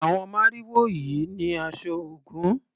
Àwon màrìwò yìí ni aṣọ Ògún.